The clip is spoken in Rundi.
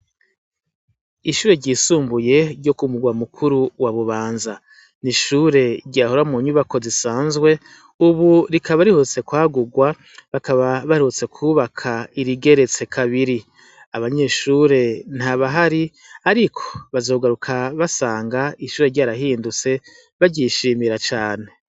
Ishure ryisumbuye ryo ku murwa mukuru wa Bubanza ryahora munyubakwa zisanzwe ubu rikaba riherutse kwagurwa bakaba baherutse kwubaka irigeretse kabiri , abanyeshure ntabahari Ariko bazogaruka basanga ishure ryarahindutse baryishimira cane.